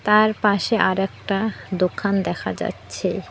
তার পাশে আরেকটা দোকান দেখা যাচ্ছে।